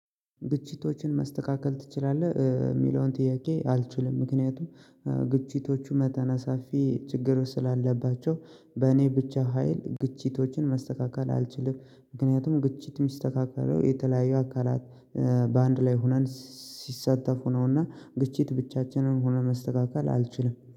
ግጭቶችን ማስተካከል ትችላለህ? የሚለውን ጥያቄ አልችልም ምክንያቱም ግጭቶቹ መጠነ ሰፊ ችግሩ ስላለባቸው በእኔ ብቻ ሀይል ግጭቶችን ማስተካከል አልችልም። ምክንያቱም ግጭት የሚስተካከለው የተለያየ አካላት በአንድ ላይ ሆነን ሲሳተፉ ነውና ግጭት ብቻችንን ሆነን ማስተካከል አልችልም።